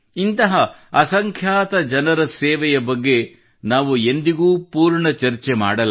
ಎಂದಿಗೂ ಚರ್ಚೆ ಮಾಡಲಾಗದ ಇಂತಹ ಅಸಂಖ್ಯಾತ ಜನರಿದ್ದಾರೆ